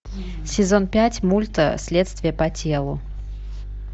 сезон пять мульта следствие по телу